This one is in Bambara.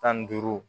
Tan ni duuru